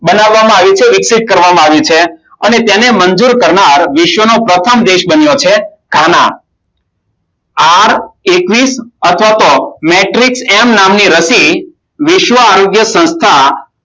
બનાવવામાં આવી છે વિકસિત કરવામાં આવી છે. અને તેને મંજૂર કરનાર વિશ્વનો પ્રથમ દેશ બન્યો છે ગાના. આર એકવીસ અથવા તો મેટ્રિક્સ એમ નામની રસી વિશ્વ આરોગ્ય સંસ્થા,